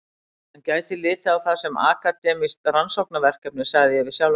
Hann gæti litið á það sem akademískt rannsóknarverkefni, sagði ég við sjálfan mig.